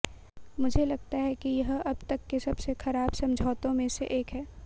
मुझे लगता है कि यह अब तक के सबसे खराब समझौतों में से एक है